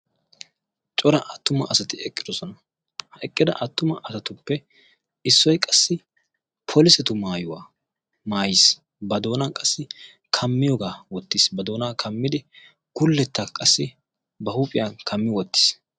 cora attuma asati eqqidosona ha eqqida attuma asatuppe issoy qassi polisetu maayuwaa maayiis ba doonaa qassi kammiyoogaa wottiis ba doonaa kammidi gulletta qassi ba huuphiyan kammi wottiis